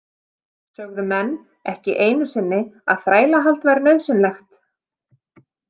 Sögðu menn ekki einu sinni að þrælahald væri nauðsynlegt.